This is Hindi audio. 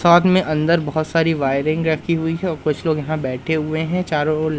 साथ में अंदर बहोत सारी वायरिंग रखी हुई है कुछ लोग यहां बैठे हुए हैं चारों ओर--